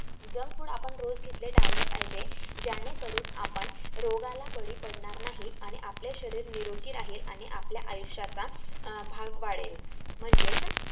junk food आपण रोज घेतले टाळले पाहिजे. जेणेकरून आपण रोगाला बळी पडणार नाही आणि आपले शरीर निरोगी राहील आणि आपल्या आयुष्याचा अं भाग वाढेल म्हणजेच